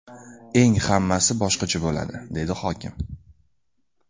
Eng hammasi boshqacha bo‘ladi”, dedi hokim.